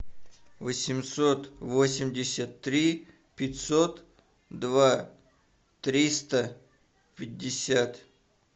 восемьсот восемьдесят три пятьсот два триста пятьдесят